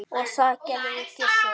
Og það gerði Gissur.